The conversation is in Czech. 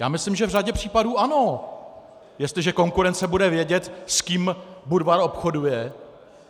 Já myslím, že v řadě případů ano, jestliže konkurence bude vědět, s kým Budvar obchoduje.